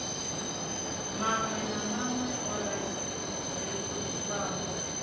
maṅwe na maṅwe o rekhodiwaho